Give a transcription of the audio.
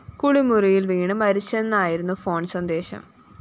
കുളിമുറിയില്‍ വീണ് മരിച്ചെന്നായിരുന്നു ഫോൺ സന്ദേശം